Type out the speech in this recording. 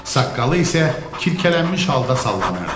Saqqalı isə kilkələnmiş halda sallanırdı.